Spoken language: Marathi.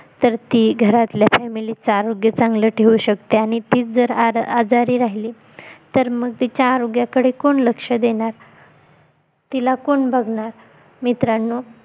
तर ती घरातल्या FAMILY चं आरोग्य चांगलं ठेऊ शकते आणि तीच जर आजारी राहिली तर मग तिच्या आरोग्याकडे कोण लक्ष देणार तिला कोण बघणार मित्रांनो